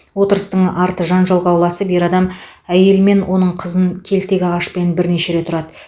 отырыстың арты жанжалға ұласып ер адам әйел мен оның қызын келтек ағашпен бірнеше рет ұрады